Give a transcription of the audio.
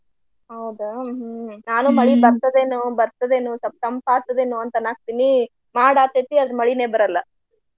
ಹೌದಾ ಹ್ಮ ನಾನು ಮಳಿ ಬರ್ತದ ಏನು ಬರ್ತದ ಏನು ಸ್ವಲ್ಪ ತಂಪ ಆಗ್ತದ ಏನು ಅಂತ ಅನ್ನಾಕತ್ತೆನಿ ಮಾಡ ಆಗ್ತೆತಿ ಆದ್ರ ಮಳಿನ ಬರಲ್ಲ.